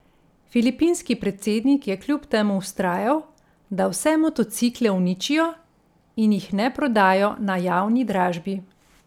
Filipinski predsednik je kljub temu vztrajal, da vse motocikle uničijo in jih ne prodajo na javni dražbi.